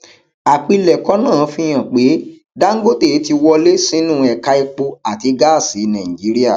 àpilẹkọ náà fi hàn pé dangote ti wọlẹ sínú ẹka epo àti gáàsì nàìjíríà